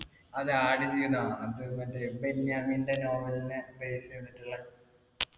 അതെ ആടുജീവിതം. അത് മറ്റേ ബെന്യാമിന്റെ novel നെ base എയ്തിട്ടിള്ളെ